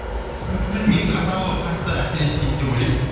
білмеймін негізі атау қатты әсер етпейді деп ойлаймын